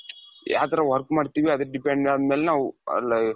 ಯಾವ್ ತರ work ಮಾಡ್ತೀವಿ ಅದಕ್ಕೆ depend ಅದಮೇಲೆ ನಾವು ಅ,